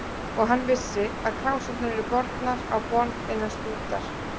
Og hann vissi, að krásirnar yrðu bornar á borð innan stundar.